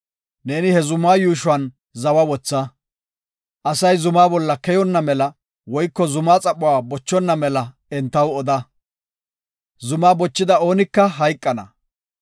Neeni ha zuma yuushuwan zawa wotha. Asay zuma bolla keyonna mela woyko zumaa xaphuwa bochonna mela entaw oda. Zumaa bochida oonika hayqana.